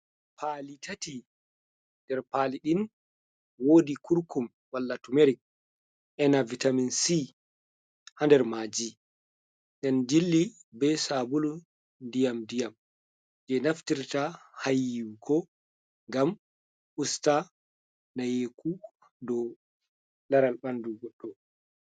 Pali tati nder palidin wodi kurkum walla tumerik ema vitaminc ha nder maji nden jilli be sabulu ndiyam ndiyam je naftirta ha yiwugo ngam usta nayeku dow laral ɓandu goɗɗo.